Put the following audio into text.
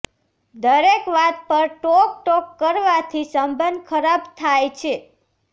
દરેક વાત પર ટોક ટોક કરવાથી સબંધ ખરાબ થાય છે